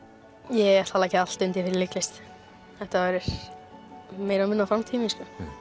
ég ætla að leggja allt undir fyrir leiklist þetta verður meira og minna framtíðin mín